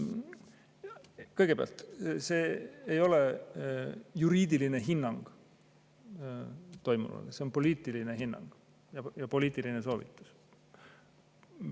Kõigepealt, see ei ole juriidiline hinnang toimuvale, see on poliitiline hinnang ja poliitiline soovitus.